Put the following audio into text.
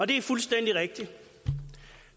det er fuldstændig rigtigt og